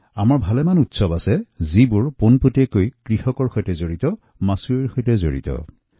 আমাৰ বহুত উৎসৱ কেৱল কৃষক আৰু মৎস্যপালক ভাইভনীৰ সৈতে জড়িত